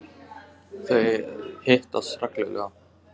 Þau hittast reglulega.